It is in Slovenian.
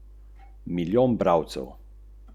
S hišo bo seveda hotel tudi zaslužiti.